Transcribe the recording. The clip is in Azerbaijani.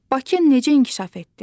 Bakı necə inkişaf etdi?